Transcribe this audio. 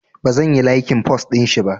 Bazan yi laikin post ɗinshi ba